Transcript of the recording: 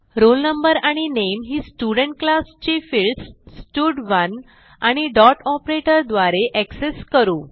roll no आणि नामे ही स्टुडेंट क्लास ची फिल्डस स्टड1 आणि डॉट ऑपरेटर द्वारे एक्सेस करू